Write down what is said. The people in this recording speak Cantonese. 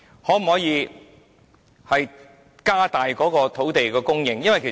可否增加土地供應？